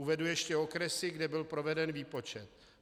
Uvedu ještě okresy, kde byl proveden výpočet.